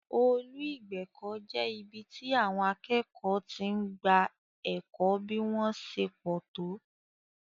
Ọ́ọ̀lù ìgbẹ̀kọ̀ jẹ́ ibi tí àwọn akẹ́kọ̀ọ́ ti máa ń gba ẹ̀kọ́ bí wón ṣe pọ̀ tó